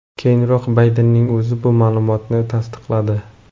Keyinroq Baydenning o‘zi bu ma’lumotni tasdiqladi.